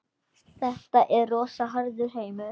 Þetta er rosa harður heimur.